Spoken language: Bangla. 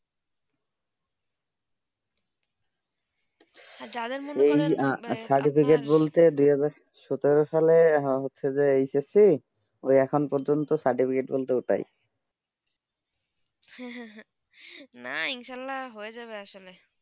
যাদের মনে এই যে cetificate বলতে দিয়ে সূত্রঃ সালে হচ্ছেই যে এই ক্ষেত্রে এখন প্রজন্ত cetificate বলতো ওটাই না ইনশাল্লাহ হয়ে যাবে আসলে